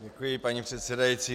Děkuji, paní předsedající.